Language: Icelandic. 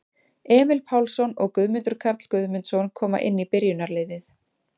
Emil Pálsson og Guðmundur Karl Guðmundsson koma inn í byrjunarliðið.